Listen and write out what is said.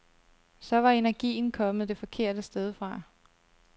Så var energien kommet det forkerte sted fra.